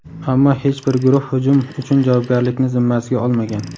Ammo hech bir guruh hujum uchun javobgarlikni zimmasiga olmagan.